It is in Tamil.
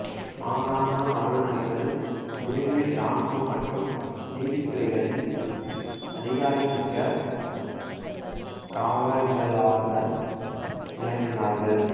மாகாண ஆளுநர்கள் குடிமை இராணுவம் மற்றும் நீதித்துறைகளில் அதிகாரமிக்கவர்களாக விளங்கினார்கள்